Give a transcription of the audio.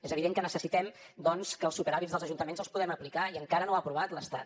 és evident que necessitem doncs que els superàvits dels ajuntaments els puguem aplicar i encara no ha aprovat l’estat